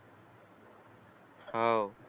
हवं